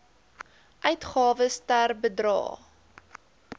uitgawes ter bedrae